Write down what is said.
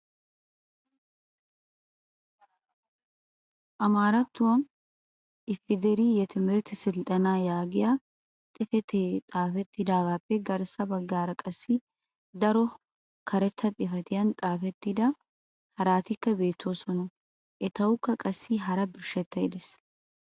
amaarattuwan "ifedirii yetimihirt siltenaa" yaagetiyaa xifatee xaafetaagaappe garssa bagaara qassi daro karetta xifatiyan xaafettidabati haraatikka beetoosona. etawukka qassi hara birshshettay des.